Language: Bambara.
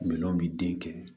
Minɛnw bi den kɛ